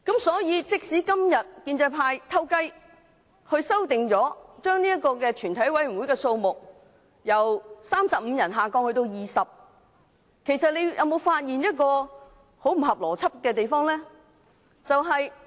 所以，如果今天建制派成功取巧，將全體委員會的法定人數由35人下調至20人，其實大家會否發現有很不合邏輯的地方？